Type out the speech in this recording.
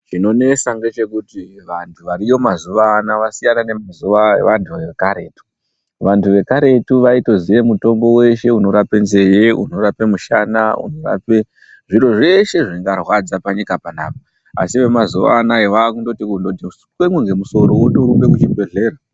Chinonesa ngechekuti vantu variyo mazuvaano vasiyana nemazuva evantu vekaretu vantu vekaretu vaitoziya mutombo weshe unorapa nzee unorapa mushana unorapa zviro zveshe zvingarwadza panyika panaapa asi vemazuvaanaya vakundoti kungoti temwe nemusoro votorumba kuzvibhedhlera.